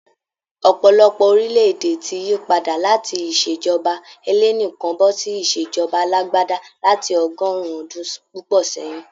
Ọ̀pọ̀lọpọ̀ orílẹ̀-èdè ti yípadà láti ìṣèjọba ẹlẹ́nìkan bọ́ ṣí ìṣèjọba alágbádá lati ọgọ́rùn-ún ọdún púpọ̀ sẹ́yìn.